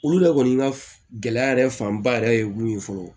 Olu yɛrɛ kɔni ka gɛlɛya yɛrɛ fanba yɛrɛ ye mun ye fɔlɔ